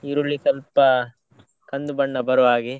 ಈರುಳ್ಳಿ ಸ್ವಲ್ಪ ಕಂದು ಬಣ್ಣ ಬರುವಾಗೆ.